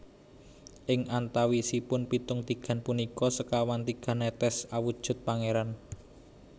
Ing antawisipun pitung tigan punika sekawan tigan netes awujud pangéran